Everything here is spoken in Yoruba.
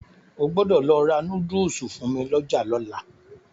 O gbọ́dọ̀ lọ ra núdùsù fún mi lọ́jà lọ́la.